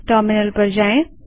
terminal पर जाएँ